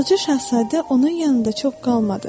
Balaca Şahzadə onun yanında çox qalmadı.